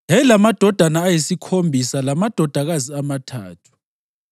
Yayilamadodana ayisikhombisa lamadodakazi amathathu,